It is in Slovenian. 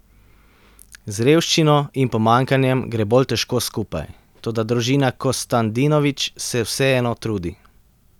Z revščino in pomanjkanjem gre bolj težko skupaj, toda družina Kostandinović se vseeno trudi.